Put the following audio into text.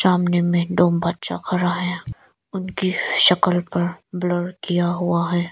सामने में दो बच्चा खड़ा है उनकी शक्ल पर ब्लर किया हुआ है।